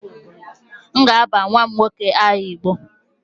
M ga-aba nwa m nwoke aha igbo